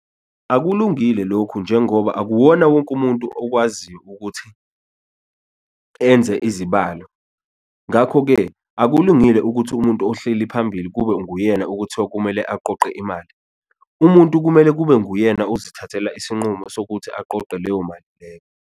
Akulungile lokhu njengoba akuwona wonke umuntu okwaziyo ukuthi enze izibalo, ngakho-ke akulungile ukuthi umuntu ohleli phambili kube nguyena okuthiwa kumele aqoqe imali. Umuntu kumele kube nguyena ukuzithathela isinqumo sokuthi aqoqe leyo mali leyo.